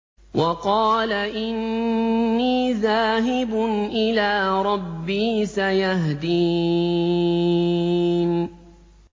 وَقَالَ إِنِّي ذَاهِبٌ إِلَىٰ رَبِّي سَيَهْدِينِ